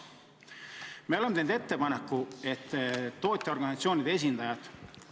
Me oleme teinud ettepaneku tootjaorganisatsioonide esindajad sinna tagasi viia.